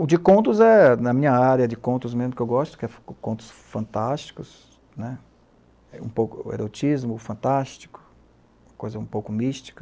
O de contos é, na minha área, de contos mesmo que eu gosto, que são contos fantásticos, né um pouco o erotismo fantástico, coisa um pouco mística.